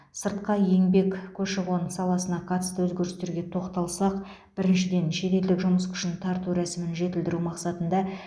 сыртқы еңбек көші қон саласына қатысты өзгерістерге тоқталсақ біріншіден шетелдік жұмыс күшін тарту рәсімін жетілдіру мақсатында